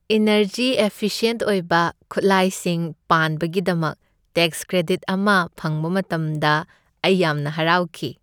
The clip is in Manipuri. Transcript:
ꯏꯅꯔꯖꯤ ꯑꯦꯐꯤꯁꯤꯑꯦꯟꯠ ꯑꯣꯏꯕ ꯈꯨꯠꯂꯥꯏꯁꯤꯡ ꯄꯥꯟꯕꯒꯤꯗꯃꯛ ꯇꯦꯛꯁ ꯀ꯭ꯔꯦꯗꯤꯠ ꯑꯃ ꯐꯪꯕ ꯃꯇꯝꯗ ꯑꯩ ꯌꯥꯝꯅ ꯍꯔꯥꯎꯈꯤ꯫